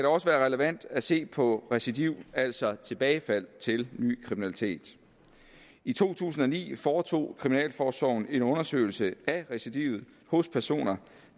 også være relevant at se på recidiv altså på tilbagefald til ny kriminalitet i to tusind og ni foretog kriminalforsorgen en undersøgelse af recidivet hos personer